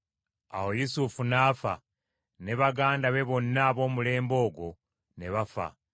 Awo Yusufu n’afa; ne baganda be ne bonna ab’omulembe ogwo ne bafa.